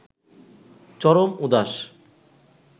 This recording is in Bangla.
চরম উদাস